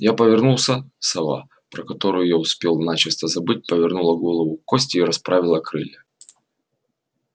я повернулся сова про которую я успел начисто забыть повернула голову к косте и расправила крылья